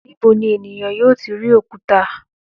Níbo ni ènìyàn yóò ti rí òkúta?